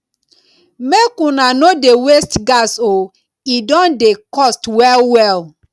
make una no dey waste gas o e don dey cost wellwell